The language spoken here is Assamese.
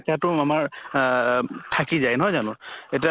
শিকাতো আমাৰ আহ থাকি যায়, নহয় জানো? এতিয়া